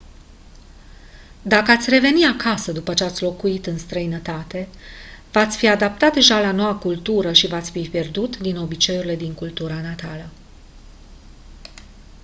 dacă ați reveni acasă după ce ați locuit în străinătate v-ați fi adaptat deja la noua cultură și v-ați fi pierdut din obiceiurile din cultura natală